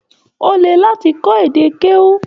O lè láti kọ èdè keu.